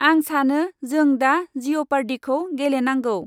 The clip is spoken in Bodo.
आं सानो जों दा जिउपार्दिखौ गेलेनांगौ।